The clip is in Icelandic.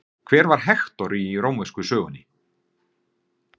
Hver var Hektor í rómversku sögunni?